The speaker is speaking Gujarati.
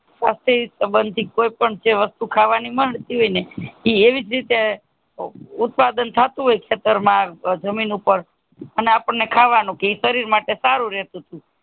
પાસે સબંધી કોઈ પણ જે વસ્તુ ખાવા ની મળતી એ એવીજ રીતે ઉત્પાદન થતું હોય ખેતર માં જમીન ઉપર અપને ખાવાનું કહે શરીર માટે સારું રહેતું તું